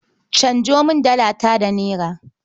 Canjo min Dalata da Naira.